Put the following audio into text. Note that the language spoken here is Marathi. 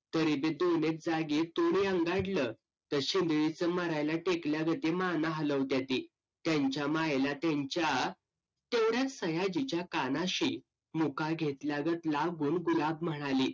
तरी भी दोन एक जागी तर तर शिंदळीच मरायला टिकल्यावानी माना हलवित्याती त्यांच्या मायला त्यांच्या तेवढी सयाजीच्या कानाशी मुका घेतल्या गत लांबहून गुलाम म्हणाली